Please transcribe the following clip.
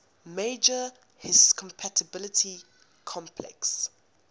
major histocompatibility complex